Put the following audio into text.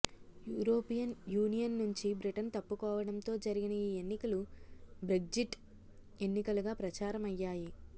European union నుంచి Britain తప్పుకోవడంతో జరిగిన ఈ ఎన్నికలు బ్రెగ్జిట్ ఎన్నికలుగా ప్రచారమయ్యాయి